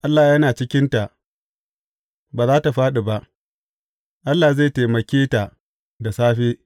Allah yana cikinta, ba za tă fāɗi ba; Allah zai taimake ta da safe.